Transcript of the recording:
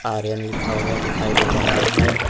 आर्यन लिखा हुआ दिखाई दे रहा है।